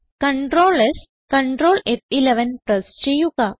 CtrlS Ctrl ഫ്11 press ചെയ്യുക